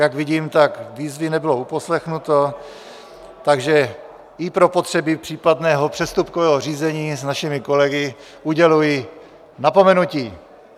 Jak vidím, tak výzvy nebylo uposlechnuto, takže i pro potřeby případného přestupkového řízení s našimi kolegy uděluji napomenutí!